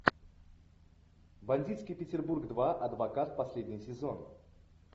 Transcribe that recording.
бандитский петербург два адвокат последний сезон